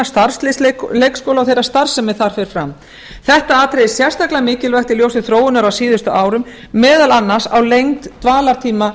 starfsliðs leikskóla og þeirrar starfsemi er þar fer fram þetta atriði er sérstaklega mikilvægt í ljósi þróunar á síðustu árum meðal annars á lengd dvalartíma